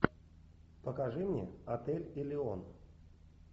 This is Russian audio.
покажи мне отель элеон